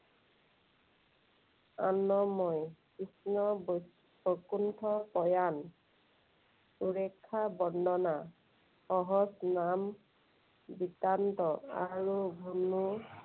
আনয়ণ, কৃষ্ণৰ বৈকুণ্ঠ প্ৰয়াণ, উৰেষা বৰ্ণনা, আৰু